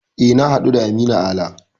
E, na haɗu da Aminu Ala.